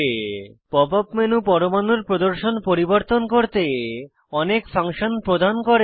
pop up menu পরমাণুর প্রদর্শন পরিবর্তন করতে অনেক ফাংশন প্রদান করে